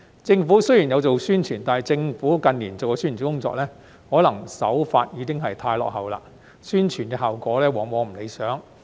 政府雖然有做宣傳，但近年的政府宣傳工作，可能手法已經太落後，宣傳效果往往不理想。